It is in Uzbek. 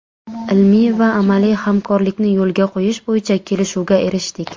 Ilmiy va amaliy hamkorlikni yo‘lga qo‘yish bo‘yicha kelishuvga erishdik.